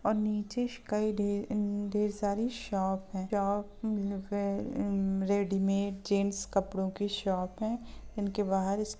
और नीचेश कई ढेर अं ढेर सारी शॉप है। शॉप रेडीमेड जेन्ट्स कपड़ों की शॉप है इनके बाहर --